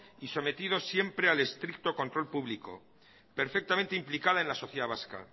y sometido siempre al estricto control público perfectamente implicada en la sociedad vasca